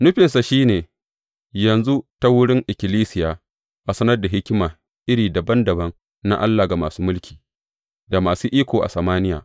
Nufinsa shi ne, yanzu, ta wurin ikkilisiya, a sanar da hikima iri dabam dabam na Allah ga masu mulki, da masu iko a samaniya.